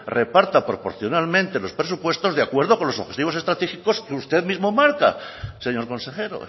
reparta proporcionalmente los presupuestos de acuerdo con los objetivos estratégicos que usted mismo marca señor consejero